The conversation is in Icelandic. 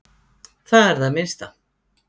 Það er það minnsta.